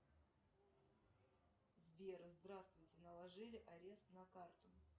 сбер здравствуйте наложили арест на карту